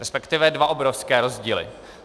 Respektive dva obrovské rozdíly.